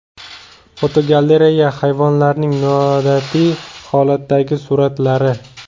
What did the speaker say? Fotogalereya: Hayvonlarning noodatiy holatdagi suratlari .